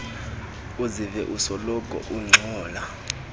uzive usoloko ungxola